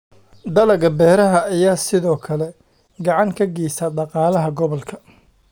Dalagga beeraha ayaa sidoo kale gacan ka geysta dhaqaalaha gobolka.